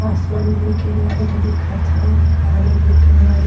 आसमान लेकिन वाइट दिखत ह। पानी ब्लैक एण्ड वाइट --